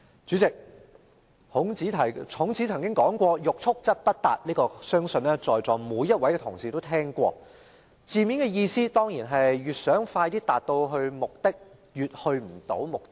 主席，孔子曾曰："欲速則不達"，相信在座每一位同事也聽過，字面的意思是越想快些達到目的便越達不到目的。